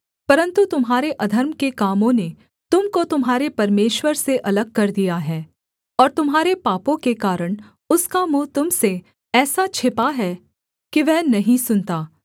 परन्तु तुम्हारे अधर्म के कामों ने तुम को तुम्हारे परमेश्वर से अलग कर दिया है और तुम्हारे पापों के कारण उसका मुँह तुम से ऐसा छिपा है कि वह नहीं सुनता